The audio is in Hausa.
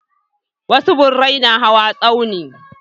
Wasu birai na hawa tsauni.